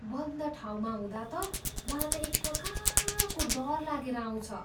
बन्द ठाउँमा हुँदा त मलाई त एकप्रकारको डर लागेर आउँछ।